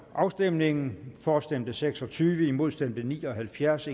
afstemningen for stemte seks og tyve imod stemte ni og halvfjerds